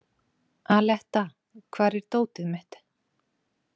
Aletta, hvar er dótið mitt?